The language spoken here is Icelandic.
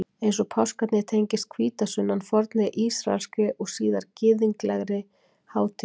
Eins og páskarnir tengist hvítasunnan fornri ísraelskri og síðar gyðinglegri hátíð.